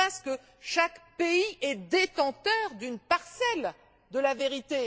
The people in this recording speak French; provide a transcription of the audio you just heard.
Il se passe que chaque pays est détenteur d'une parcelle de la vérité.